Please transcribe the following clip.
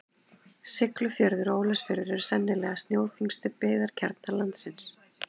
Siglufjörður og Ólafsfjörður eru sennilega snjóþyngstu byggðakjarnar landsins.